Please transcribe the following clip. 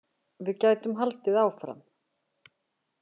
Við gætum haldið áfram.